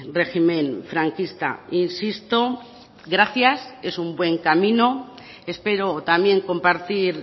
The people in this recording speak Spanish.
régimen franquista insisto gracias es un buen camino espero también compartir